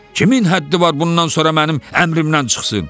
Kimin həddi var bundan sonra mənim əmrimdən çıxsın?"